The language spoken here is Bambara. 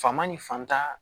Faama ni fantan